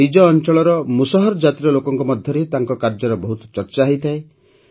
ନିଜ ଅଞ୍ଚଳର ମୁସହର ଜାତିର ଲୋକଙ୍କ ମଧ୍ୟରେ ତାଙ୍କ କାର୍ଯ୍ୟର ବହୁତ ଚର୍ଚ୍ଚା ହୋଇଥାଏ